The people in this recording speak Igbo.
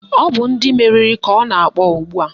Ọ bụ ndị meriri ka ọ na-akpọ ugbua